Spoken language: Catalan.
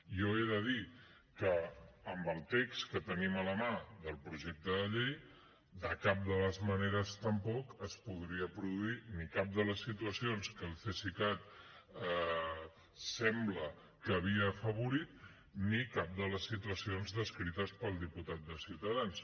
jo he de dir que amb el text que tenim a la mà del projecte de llei de cap de les maneres tampoc es podria produir ni cap de les situacions que el cesicat sembla que havia afavorit ni cap de les situacions descrites pel diputat de ciutadans